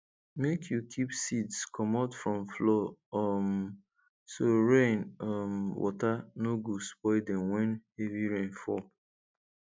make you keep seeds comot from floor um so rain um water no go spoil dem when heavy rain fall